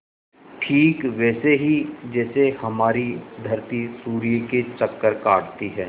ठीक वैसे ही जैसे हमारी धरती सूर्य के चक्कर काटती है